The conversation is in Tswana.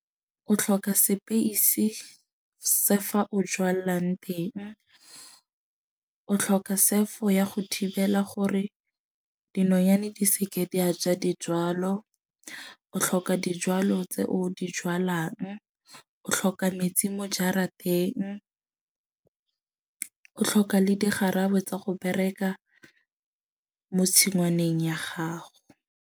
O tlhoka space se fa o jwalang teng. O tlhoka sefo ya go thibela gore dinonyane di seke di a ja dijwalo. O tlhoka dijwalo tse o di jwalang. O tlhoka metsi mo jarateng. O tlhoka le digarabo tsa go bereka mo tshingwaneng ya gago.